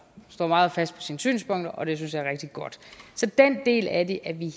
står meget fast på sine synspunkter og det synes jeg er rigtig godt så den del af det er vi